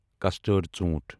کسڑڈ ژوٛنٹھ